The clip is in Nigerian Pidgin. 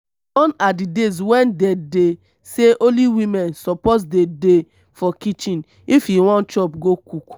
gone are the days when dey dey say only woman suppose dey dey for kitchen if you wan chop go cook